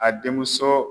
A denmuso